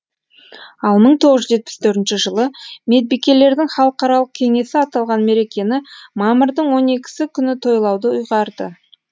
ал мың тоғыз жүз жетпіс төртінші жылы медбикелердің халықаралық кеңесі аталған мерекені мамырдың он екісі күні тойлауды ұйғарды